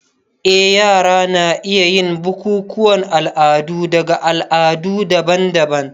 Eh, yara na iya yin bukukuwan al'adu daga al'adu daban-daban.